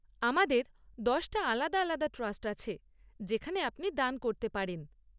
আমাদের দশটা আলাদা আলাদা ট্রাস্ট আছে যেখানে আপনি দান করতে পারেন।